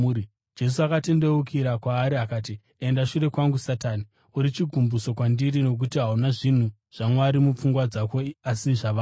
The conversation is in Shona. Jesu akatendeukira kwaari akati, “Enda shure kwangu Satani! Uri chigumbuso kwandiri nokuti hauna zvinhu zvaMwari mupfungwa dzako asi zvavanhu.”